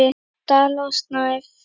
Dala og Snæf.